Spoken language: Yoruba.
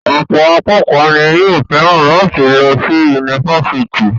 Ọ̀pọ̀ akékọ̀ọ́ ni yóò fẹ́ràn láti lọ sí yunifásítì.